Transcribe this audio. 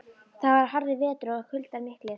Þetta var harður vetur og kuldar miklir.